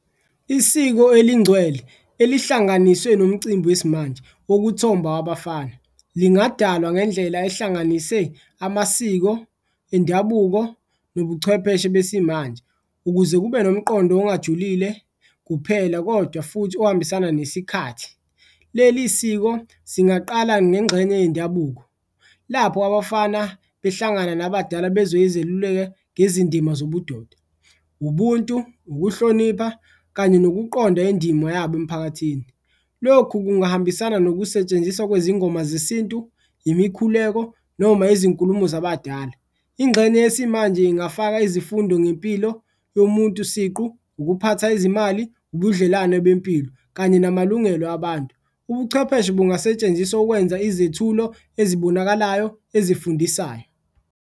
Isiko elingcwele elihlanganiswe nomcimbi wesimanje wokuthomba wabafana lingadalwa ngendlela ehlanganise amasiko endabuko nobuchwepheshe besimanje, ukuze kube nomqondo ongajulile kuphela, kodwa futhi ohambisana nesikhathi. Leli siko singaqala ngengxenye yendabuko lapho abafana behlangana nabadala bezwe izeluleko ngezindima zobudoda, ubuntu, ukuhlonipha kanye nokuqonda indima yabo emphakathini, lokhu kungahambisana nokusetshenziswa kwezingoma zesintu, imikhuleko noma izinkulumo zabadala. Ingxenye yesimanje ingafaka izifundo ngempilo yomuntu siqu, ukuphatha izimali, ubudlelwano bempilo kanye namalungelo abantu, ubuchwepheshe bungasetshenziswa ukwenza izethulo ezibonakalayo ezifundisayo.